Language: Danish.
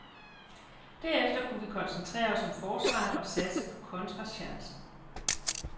Derefter kunne vi koncentrere os om forsvaret og satse på kontrachancer.